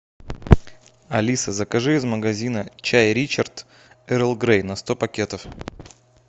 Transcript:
алиса закажи из магазина чай ричард эрл грей на сто пакетов